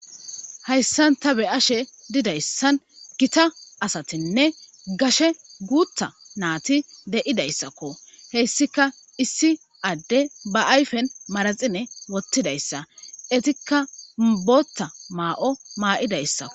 Hayssan ta be ashe didayssan gita asatinne gashe guutha naati de'idayssakko heyssika issi adde ba ayfen maraxine wottidayssa etikka boota maa'o maa'idayssako.